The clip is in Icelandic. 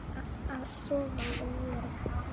Að sofa og vera kalt.